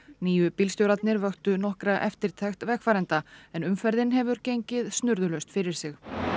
nýju bílstjórarnir vöktu nokkra eftirtekt vegfarenda en umferðin hefur gengið snurðulaust fyrir sig